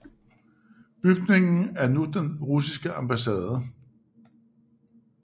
Bygningen er nu den russiske ambassade